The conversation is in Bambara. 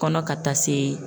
Kɔnɔ ka taa se